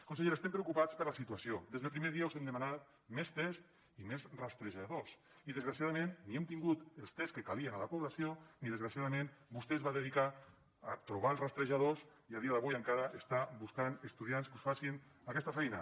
consellera estem preocupats per la situació des del primer dia us hem demanat més tests i més rastrejadors i desgraciadament ni hem tingut els tests que calien a la població ni desgraciadament vostè es va dedicar a trobar els rastrejadors i a dia d’avui encara està buscant estudiants que us facin aquesta feina